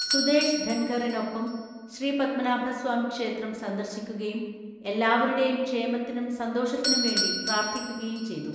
സുദേഷ് ധൻഖറിനൊപ്പം ശ്രീപത്മനാഭസ്വാമി ക്ഷേത്രം സന്ദർശിക്കുകയും എല്ലാവരുടെയും ക്ഷേമത്തിനും സന്തോഷത്തിനും വേണ്ടി പ്രാർഥിക്കുകയും ചെയ്തു